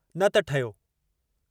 न त ठहियो।